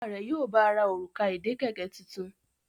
Bàbá rẹ yíò bá rà Òrùka ìdè kẹ̀kẹ́ títún.